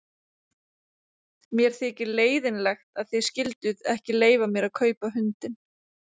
Mér þykir leiðinlegt að þið skylduð ekki leyfa mér að kaupa hundinn.